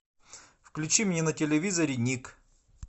включи мне на телевизоре ник